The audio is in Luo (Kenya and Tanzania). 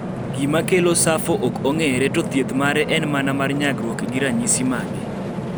gimakelo SAPHO ok ong'ere to thieth mare en mana mar nyagruok gi ranyisi mage